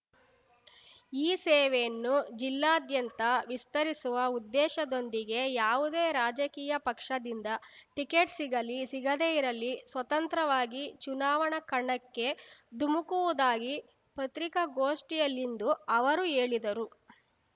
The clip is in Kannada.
ಈ ಸೇವೆಯನ್ನು ಜಿಲ್ಲೆಯಾದ್ಯಂತ ವಿಸ್ತರಿಸುವ ಉದ್ದೇಶದೊಂದಿಗೆ ಯಾವುದೇ ರಾಜಕೀಯ ಪಕ್ಷದಿಂದ ಟಿಕೆಟ್ ಸಿಗಲಿ ಸಿಗದೇ ಇರಲಿ ಸ್ವತಂತ್ರವಾಗಿ ಚುನಾವಣಾ ಕಣಕ್ಕೆ ಧುಮುಕುವುದಾಗಿ ಪತ್ರಿಕಾಗೋಷ್ಠಿಯಲ್ಲಿಂದು ಅವರು ಹೇಳಿದರು